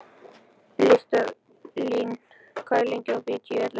Listalín, hvað er lengi opið í Tíu ellefu?